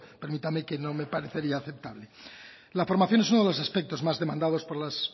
permítame que me parecería aceptable la formación es uno de los aspectos más demandados por las